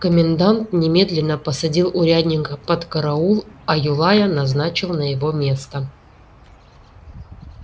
комендант немедленно посадил урядника под караул а юлая назначил на его место